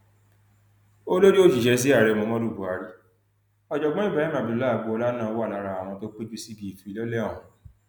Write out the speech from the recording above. olórí òṣìṣẹ sí ààrẹ muhammed buhari ọjọgbọn ibrahim abdullahi agboola náà wà lára àwọn tó péjú síbi ìfilọlẹ ọhún